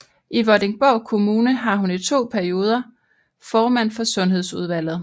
I Vordingborg Kommune var hun i to perioder formand for sundhedsudvalget